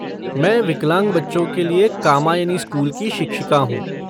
मैं विकलांग बच्चों के लिए कामायनी स्कूल की शिक्षिका हूँ।